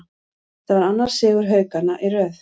Þetta var annar sigur Haukanna í röð.